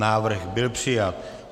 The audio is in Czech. Návrh byl přijat.